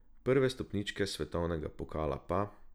Prve stopničke svetovnega pokala pa ...